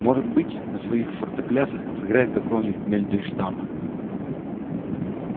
может быть на своих фортеплясах сыграет какого-нибудь мендельштама